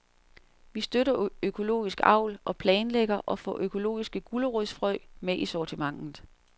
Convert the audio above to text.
Vi støtter økologisk avl og planlægger at få økologiske gulerodsfrø med i sortimentet.